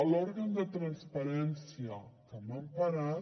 l’òrgan de transparència que m’han parat